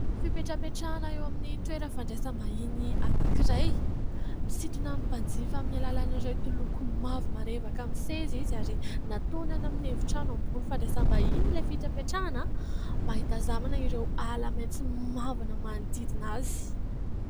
Fipetrapetrahana eo amin'ny toerana fandraisam-bahiny anankiray; misintona ny mpanjifa amin'ny alalan' ireto loko mavo marevaka amin'ny seza izy, ary nataony any amin'ny efitrano ambony fandraisam-bahiny ilay fipetrapetrahana, mba hitazanana ireo ala maitso mavana manodidina azy.